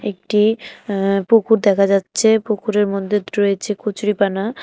একটি অ্যা পুকুর দেখা যাচ্ছে পুকুরের মধ্যে রয়েছে কচুরিপানা।